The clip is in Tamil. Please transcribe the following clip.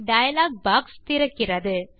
டயலாக் பாக்ஸ் திறக்கிறது